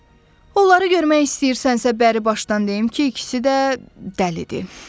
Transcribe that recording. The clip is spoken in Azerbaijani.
Onları görmək istəyirsənsə, bəribaşdan deyim ki, ikisi də dəlidir.